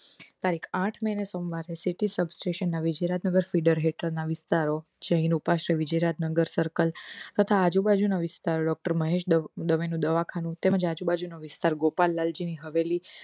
તારીખ આઠ મે સોમવાર થી city subtraction ના વિજયયારત નગર fiddler હેઠણ ના વિસ્તારો અહી રોપાશે વીજયારત નગર circle તથા આજુબાજુ ના વિસ્તાર doctor મહેશ દવે નું દવાખાનું તથા આજુબાજુ નો વિસ્તાર ગોપાલ લાલજી ની હવેલી